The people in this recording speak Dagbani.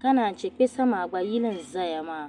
ka naanche kpɛsa maa gba yini nzaya. maa.